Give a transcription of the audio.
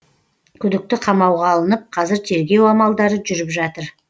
күдікті қамауға алынып қазір тергеу амалдары жүріп жатыр